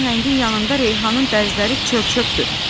Bu nəhəngin yanında Reyhanın dərzləri çör-çöpdür, dedi.